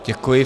Děkuji.